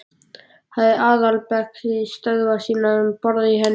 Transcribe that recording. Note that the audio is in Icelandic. Hafði aðalbækistöðvar sínar um borð í henni.